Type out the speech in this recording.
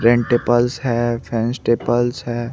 Rent tables है fan tables है।